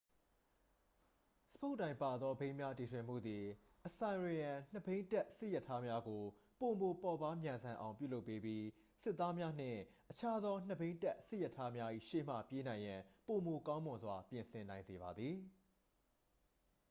စပုတ်တိုင်ပါသောဘီးများတီထွင်မှုသည် assyrian နှစ်ဘီးတပ်စစ်ရထားများကို ပိုမိုပေါ့ပါးမြန်ဆန်အောင် ပြုလုပ်ပေးပြီး စစ်သားများနှင့် အခြားသောနှစ်ဘီးတပ်စစ်ရထားများ၏ရှေ့မှပြေးနိုင်ရန် ပိုမိုကောင်းမွန်စွာ ပြင်ဆင်နိုင်စေပါသည်